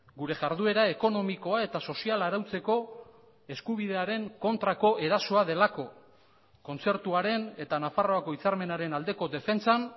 gure jarduera ekonomikoa eta soziala arautzeko eskubidearen kontrako erasoa delako kontzertuaren eta nafarroako hitzarmenaren aldeko defentsan